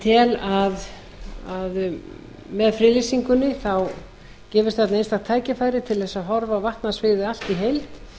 tel að með friðlýsingunni gefist þarna einstakt tækifæri til að horfa á vatnasviðið allt í heild